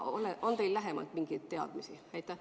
On teil lähemalt mingeid teadmisi?